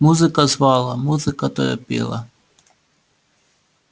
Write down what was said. музыка звала музыка торопила